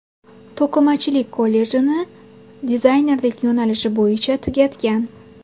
To‘qimachilik kollejini dizaynerlik yo‘nalishi bo‘yicha tugatgan.